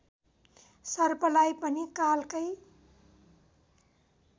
सर्पलाई पनि कालकै